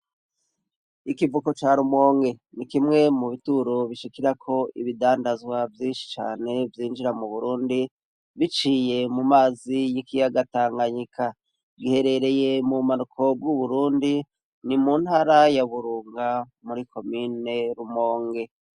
Ikivuko ca Rumonge ni kimwe mu bituro bishikirako ibidandazwa vyinshi cane vyinjira mu Burundi biciye mu mazi y'ikiyaga Tanganyika. Giherereye mu bumanuko bw'uburundi ni mu ntara ya Burunga muri komne Rumonge.